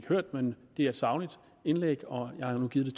hørt men det er et sagligt indlæg og jeg har nu givet